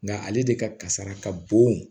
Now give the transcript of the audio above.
Nga ale de ka kasara ka bon